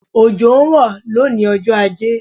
Òjò ń rọ̀ lónìí ọjọ́ ajé